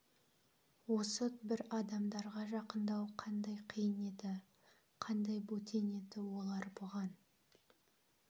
осы бір адамдарға жақындау қандай қиын еді қандай бөтен еді олар бұған